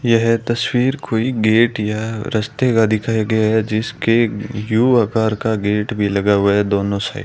यह तस्वीर कोई गेट या रस्ते का दिखाया गया है जिसके यू आकार का गेट भी लगा हुआ है दोनों साइड --